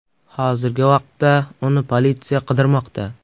Hozirgi vaqtda uni politsiya qidirmoqda.